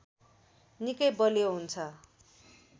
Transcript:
निकै बलियो हुन्छ